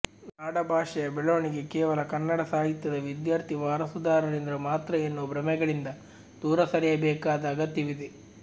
ನಾಡ ಭಾಷೆಯ ಬೆಳವಣಿಗೆ ಕೇವಲ ಕನ್ನಡ ಸಾಹಿತ್ಯದ ವಿದ್ಯಾರ್ಥಿ ವಾರಸುದಾರರಿಂದ ಮಾತ್ರ ಎನ್ನುವ ಭ್ರಮೆಗಳಿಂದ ದೂರ ಸರಿಯಬೇಕಾದ ಅಗತ್ಯವಿದೆ